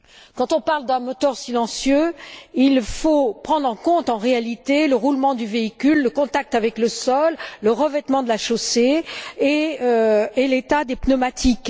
Quand on parle d'un moteur silencieux, il faut prendre en compte, en réalité, le roulement du véhicule, le contact avec le sol, le revêtement de la chaussée et l'état des pneumatiques.